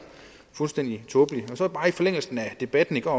fuldstændig tåbeligt så af debatten i går